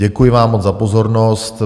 Děkuji vám moc za pozornost.